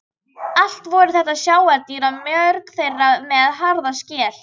Allt voru þetta sjávardýr og mörg þeirra með harða skel.